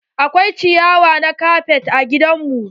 Akwai ciyawa na kafet a gidan mu.